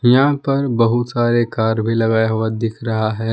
यहां पर बहुत सारे कार भी लगाया हुआ दिख रहा है।